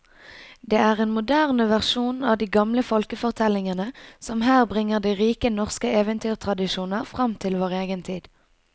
Det er en moderne versjon av de gamle folkefortellingene som her bringer de rike norske eventyrtradisjoner fram til vår egen tid.